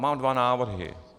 Mám dva návrhy.